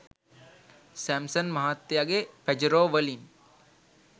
Samson මහත්තයගේ Pajero වලින්